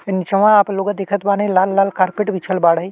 नीचवा आप लोग दिखत बानी लाल-लाल कारपेट बिछल बाड़े।